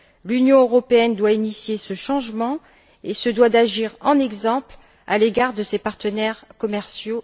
L'Union européenne doit initier ce changement et se doit d'agir en exemple à l'égard de ses partenaires commerciaux.